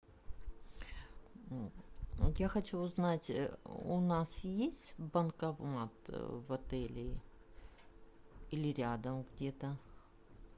я хочу узнать у нас есть банкомат в отеле или рядом где то